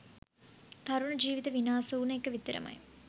තරුණ ජීවිත විනාස වුන එක විතරමයි